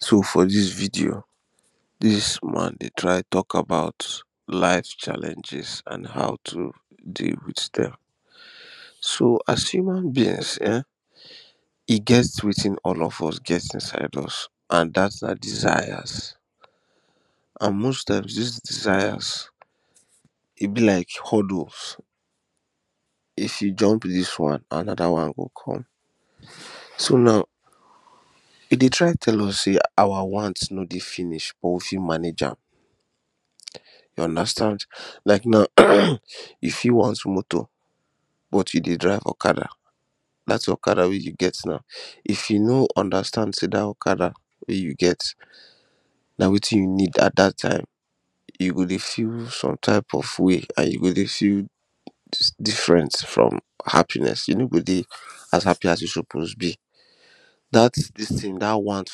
so for this video this video, this woman dey try talk about life challenges an how to dey with them so as human beings eh e get wetin get all of us get inside us an that's our desires an most times these desires e be like hurdles. if you jump this one, another one go come. so now e dey try tell us sey our wants no dey finish or e fit manage am you understand like now if you want moto but e dey drive okoda that okada wey you get now if you no understand sey that okada wey you get na weti you need at that time you go dey feel some type of wey an you go dey feel diffrent from happiness you no go dey as happy as you suppose be that this thing that one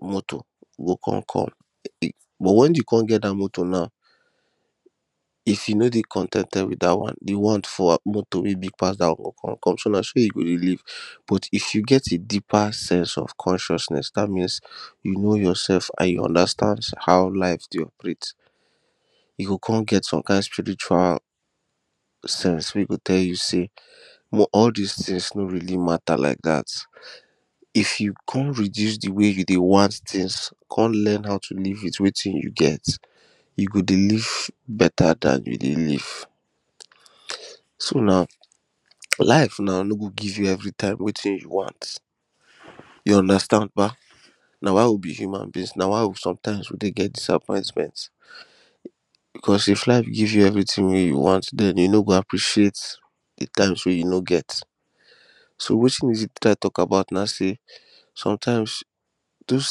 moto go come come but when e come get that moto now if e no dey con ten ted with that one the one for moto wey big pass that one go come come so na so e go dey live but if you get a deeper sense of consciouness that means you know yourself an you understand how life dey operate you go come get some kind spirirual sense wey go tell you sey but all this things no really mata like that if you come reduce the way you dey want things, come learn how to live with wetin you get you go dey live beta than you dey live so now, life now no go give you everytime wetin you want you understand bah? na why we be human beings na why sometimes we dey get dissapointment cos if life give you verything wey you want then you no go appreciate the times wey you no get. so wetin we dey try talk about now sey sometimes those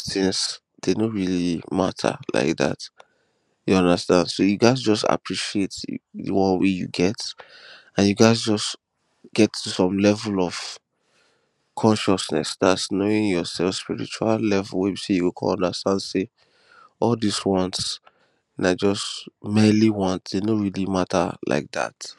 things they no really mata like that you understand so you ghast just appreciate the one wey you get an you ghast just get to some level of consciouness that is knowing yourself spiritual level wey be sey you go come understand sey all these wants na just merely wants they no really mata like that